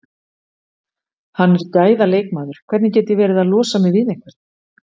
Hann er gæða leikmaður, hvernig get ég verið að losa mig við einhvern?